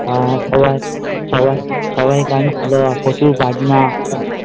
হ্যাঁ সবাই সবাই সবাই কাঁদছিলো প্রচুর কাকিমা